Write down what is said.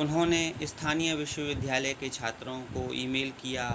उन्होंने स्थानीय विश्वविद्यालय के छात्रों को ईमेल किया